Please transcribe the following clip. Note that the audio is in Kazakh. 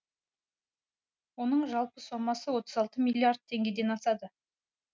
оның жалпы сомасы отыз алты миллиард теңгеден асады